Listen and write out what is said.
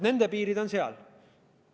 Nende piirid on sellised.